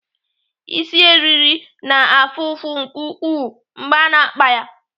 Isi eriri na-afụ ụfụ nke ukwuu mgbe a na-akpa ya.